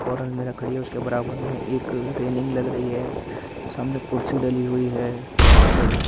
उसके बराबर में एक रेलिंग लग रही है सामने कुर्सी डाली हुई है बहुत बड़ी।